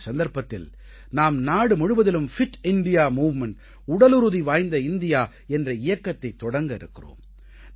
இந்த சந்தர்ப்பத்தில் நாம் நாடு முழுவதிலும் பிட் இந்தியா மூவ்மெண்ட் உடலுறுதி வாய்ந்த இந்தியா என்ற இயக்கத்தை தொடங்க இருக்கிறோம்